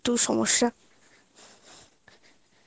একটু সমস্যা